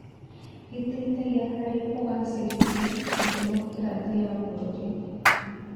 Gĩteithagia harĩ kũgacĩrithia ndemokirathĩ ya bũrũri.